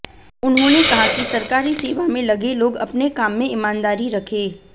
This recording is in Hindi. उन्होंने कहा कि सरकारी सेवा में लगे लोग अपने काम में ईमानदारी रखे